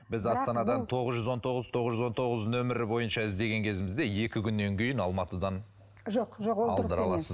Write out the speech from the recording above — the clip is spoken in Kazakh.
біз астанадан тоғыз жүз он тоғыз тоғыз жүз он тоғыз нөмері бойынша іздеген кезімізде екі күннен кейін алматыдан жоқ жоқ ол дұрыс емес